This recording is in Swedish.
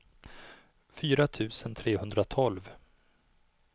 fyra tusen trehundratolv